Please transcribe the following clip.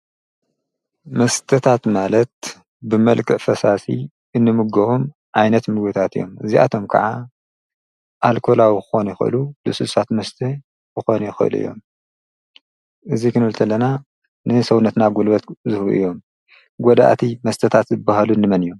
መስተታት ማለት ብመልክ ፈሳሲ እንምግኹም ዓይነት ምጐታት እዮም እዚኣቶም ከዓ ኣልኮላዊ ኾኑ ይኮሉ ልሱሳት መስቲሕ ኾነ ይኮሉ እዮም እዙይ ክኑ እልተለና ንንሰውነትና ጐልበት ዝሁ እዮም ጐድእቲ መስተታት ዝበሃሉ እንመን እዮም።